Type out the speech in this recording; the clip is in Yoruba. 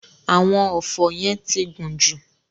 Àwọn ọfọ́ yẹn ti gùn jù.